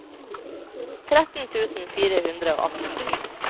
tretten tusen fire hundre og atten